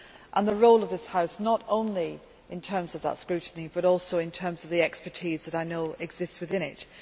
and the role of this House, not only in terms of that scrutiny, but also in terms of the expertise that I know exists within it.